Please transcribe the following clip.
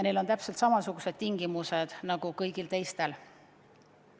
Neil on täpselt samasugused tingimused nagu teiste riikide tippudel.